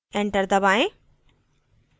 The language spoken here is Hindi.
enter दबाएँ